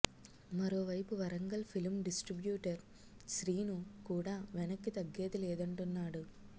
మరోవైపు Warangal film distributor Srinu కూడా వెనక్కి తగ్గేది లేదంటున్నాడు